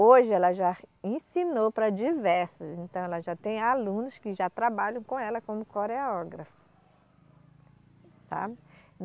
Hoje ela já ensinou para diversos, então ela já tem alunos que já trabalham com ela como coreógrafa, sabe